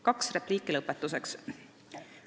Kaks repliiki lõpetuseks.